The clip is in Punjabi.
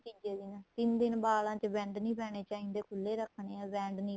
ਹਾਂ ਤੀਜੇ din ਤਿੰਨ ਬਾਅਦ ਵਾਲਾਂ ਵਿੱਚ wand ਨਹੀਂ ਪੈਣੇ ਚਾਹੀਦੇ ਖੁੱਲੇ ਰੱਖਣੇ ਏ wand